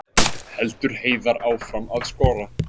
Heldur Heiðar áfram að skora